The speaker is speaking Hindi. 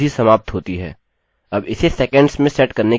अब इसे सेकंड्स में सेट करने की आवश्यकता है